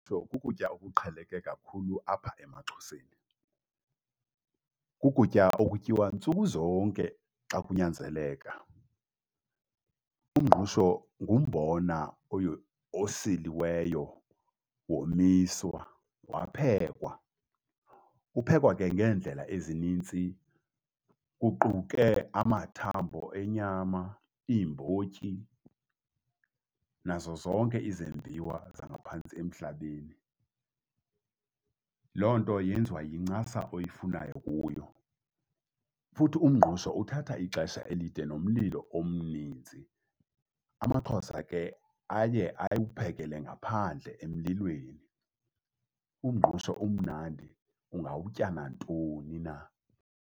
Kukutya okuqheleke kakhulu apha emaXhoseni, kukutya okutyiwa ntsuku zonke xa kunyanzeleka. Umngqusho ngumbona osiliweyo, womiswa, waphekwa. Uphekwa ke ngeendlela ezinintsi, kuquke amathambo enyama, iimbotyi, nazo zonke izembiwa zangaphantsi emhlabeni. Loo nto yenziwa yincasa oyifunayo kuyo. Futhi umngqusho uthatha ixesha elide nomlilo omninzi, amaXhosa ke aye awuphekele ngaphandle emlilweni. Umngqusho umnandi ungawutya nantoni na.